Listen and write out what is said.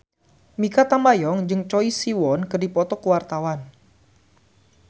Mikha Tambayong jeung Choi Siwon keur dipoto ku wartawan